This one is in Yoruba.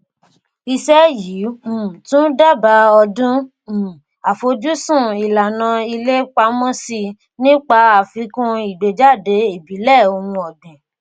iṣẹ́ yìí um tún dábàá ọdún um àfojúsùn ìlànà ilé pamọ́sí nípa àfikún ìgbéjáde ìbílẹ̀ ohun ọ̀gbìn.